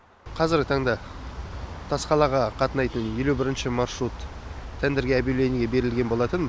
қазіргі таңда тасқалаға қатынайтын елу бірінші маршрут тендерге объявлиниеге берілген болатын